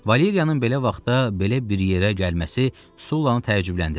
Valeriyanın belə vaxtda belə bir yerə gəlməsi Sullanı təəccübləndirdi.